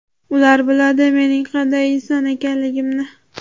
Ular biladi mening qanday inson ekanligimni.